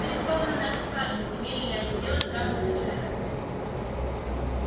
рискованно даже спрашивать имели ли они дело с гамма-лучами